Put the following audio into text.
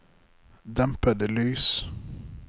dempede lys